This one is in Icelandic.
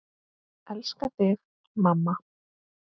Elska þig, mamma.